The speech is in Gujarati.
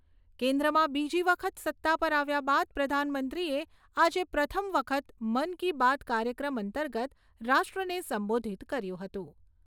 કેન્દ્રમાં બીજી વખત સત્તા પર આવ્યા બાદ પ્રધાનમંત્રીએ આજે પ્રથમ વખત મન કી બાત કાર્યક્રમ અંતર્ગત રાષ્ટ્રને સંબોધિત કર્યું હતું.